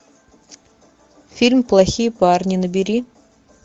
фильм плохие парни набери